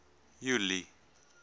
julie